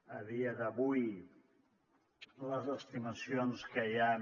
a dia d’avui les estimacions que hi han